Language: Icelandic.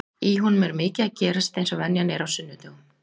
Í honum er mikið að gerast eins og venjan er á sunnudögum.